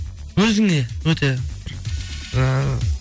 өзіңе өте бір ііі